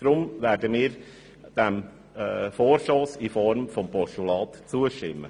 Darum werden wir dem Vorstoss in Form eines Postulats zustimmen.